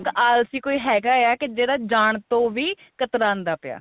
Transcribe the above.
ਆਲਸੀ ਕੋਈ ਹੈਗਾ ਆ ਕੀ ਜਿਹੜਾ ਜਾਣ ਤੋ ਵੀ ਕਤਰਾਂਦਾ ਪਿਆ